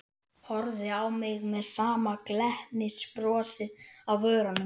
Þeir voru einkennisdýr á ordóvísíum og sílúr.